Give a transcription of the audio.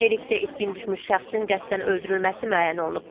Lerikdə itkin düşmüş şəxsin qəsdən öldürülməsi müəyyən olunub.